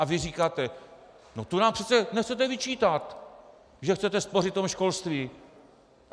A vy říkáte: No to nám přece nechcete vyčítat, že chcete spořit v tom školství!